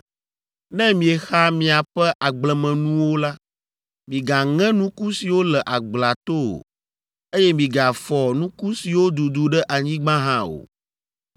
“ ‘Ne miexa miaƒe agblemenuwo la, migaŋe nuku siwo le agblea to o, eye migafɔ nuku siwo dudu ɖe anyigba hã o.